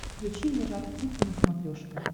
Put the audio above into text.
включи мне жар птица на смотрешке